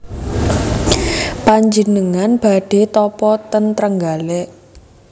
Panjenengan badhe tapa ten Trenggalek